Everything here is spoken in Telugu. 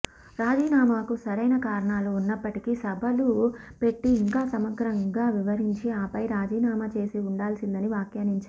రాజీనామాకు సరైన కారణాలు ఉన్నప్పటికీ సభలు పెట్టి ఇంకా సమగ్రంగా వివరించి ఆపై రాజీనామా చేసి ఉండాల్సిందని వ్యాఖ్యానించారు